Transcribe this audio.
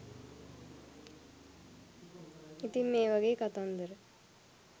ඉතින් මේ වාගේ කතන්දර